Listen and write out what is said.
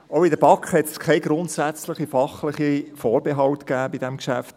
Auch in der BaK gab es keine grundsätzlichen fachlichen Vorbehalte bei diesem Geschäft.